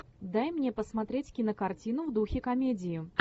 дай мне посмотреть кинокартину в духе комедии